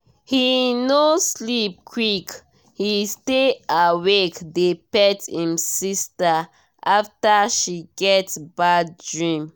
he no sleep quick he stay awake dey pet him sister after she get bad dream.